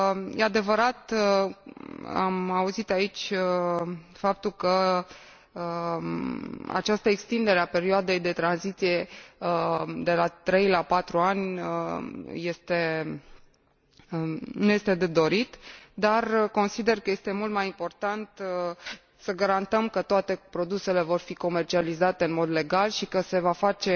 E adevărat, am auzit aici faptul că această extindere a perioadei de tranziție de la 3 la 4 ani nu este de dorit, dar consider că este mult mai important să garantăm că toate produsele vor fi comercializate în mod legal și că se va face